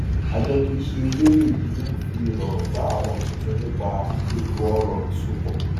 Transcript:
àjọ kìí ṣe elérè yìí ń fi ìrọrùn bá àwọn tuntun nípa ètòọrọ ìsopọ